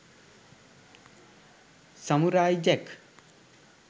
samurai jack